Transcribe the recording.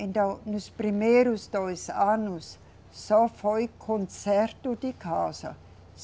Então, nos primeiros dois anos, só foi conserto de casa.